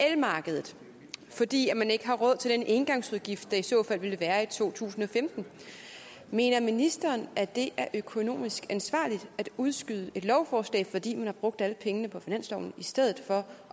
elmarkedet fordi man ikke har råd til den engangsudgift der i så fald ville være i to tusind og femten mener ministeren at det er økonomisk ansvarligt at udskyde et lovforslag fordi man har brugt alle pengene på finansloven i stedet for